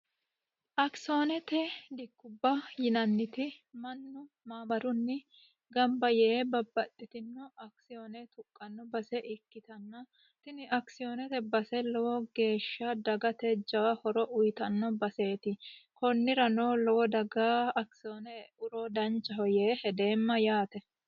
akisioonete dikkubba yinanniti mannu maamarunni gamba yee babbaxxitino akisiyoone tuqqanno base ikkitanno tini akisiyoonete base lowo geeshsha dagate jawa horo uyitanno baseeti kunnira no lowo dagaa akisyoonee euro danchaho yee hedeemma yaate